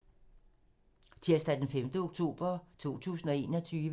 Tirsdag d. 5. oktober 2021